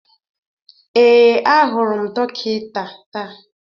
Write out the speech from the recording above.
Ee, ahụrụ m dọkịta taa